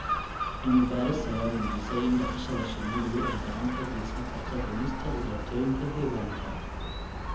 Cilmi baaris ayaa muujisay in dhaqashada shinnidu ay gacan ka geysan karto dhimista dhibaatooyinka deegaanka.